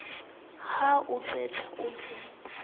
ha o qeta o be